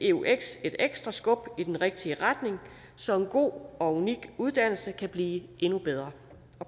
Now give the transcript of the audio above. eux et ekstra skub i den rigtige retning så en god og unik uddannelse kan blive endnu bedre